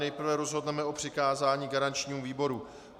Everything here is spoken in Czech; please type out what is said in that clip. Nejprve rozhodneme o přikázání garančnímu výboru.